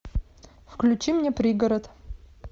включи мне пригород